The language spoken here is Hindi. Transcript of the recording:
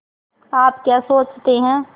आप क्या सोचते हैं